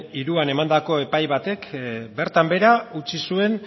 hiruan emandako epai batek bertan behera utzi zuen